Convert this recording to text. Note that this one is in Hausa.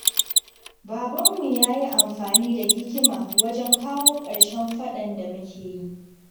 Babanmu ya yi amfani da hikima wajen kawo ƙarshen faɗan da muke yi.